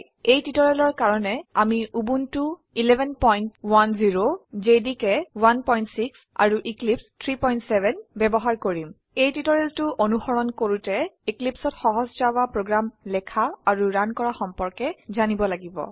এই টিউটৰিয়েলৰ কাৰনে আমি উবুনটো 1110 জেডিকে 16 আৰু এক্লিপছে 370 বয়ৱহাৰ কৰিম এই টিউটোৰিয়েলটো অনুসৰণ কৰোতে Eclipseত সহজ জাভা প্ৰোগ্ৰাম লেখা আৰু ৰান কৰা সম্পৰ্কে জানিব লাগিব